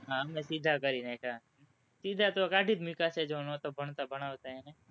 હા, અમે સીધા કરી નાખા, સીધા તો કાઢી જ મૂકા છે, જે નહોતા ભણાવતાં એને,